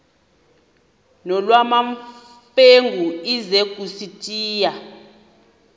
nolwamamfengu ize kusitiya